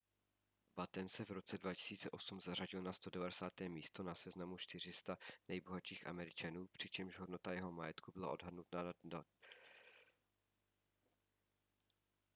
batten se v roce 2008 zařadil na 190. místo na seznamu 400 nejbohatších američanů přičemž hodnota jeho majetku byla odhadnuta na 2,3 miliardy amerických dolarů